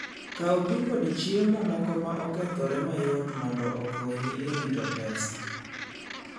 Kaw pi kod chiemo moko ma okethore mayot mondo okonyi e rito pesa.